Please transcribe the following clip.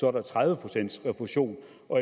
er der tredive procent refusion